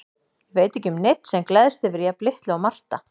Ég veit ekki um neinn sem gleðst yfir jafn litlu og Marta.